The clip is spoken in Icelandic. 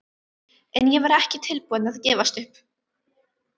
En ég var ekki tilbúin að gefast upp.